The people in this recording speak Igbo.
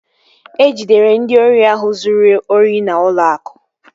E jidere ndị ori ahụ zụrụ ori n'ụlọ akụ